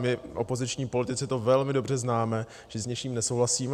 My opoziční politici to velmi dobře známe, že s něčím nesouhlasíme.